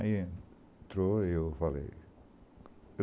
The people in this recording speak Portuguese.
Aí entrou e eu falei.